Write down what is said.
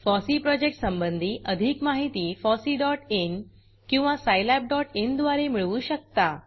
FOSSEE project संबंधी अधिक माहिती fosseeइन किंवा scilabइन द्वारे मिळवू शकता